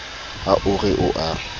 ha o re o a